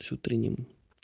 с утренним